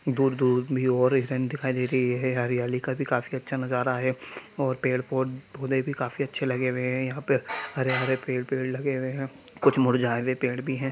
दूर दूर भी और एक हिरण दिखाई दे रही है| हरियाली का भी अच्‍छा नजारा है और पेड़ पौधें भी काफी अच्छे लगे हुए है| यहाँ पर हरे हरे पेड़ लगे हुए है कुछ मुरझाए हुए पेड़ भी है।